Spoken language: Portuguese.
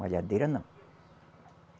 Malhadeira não.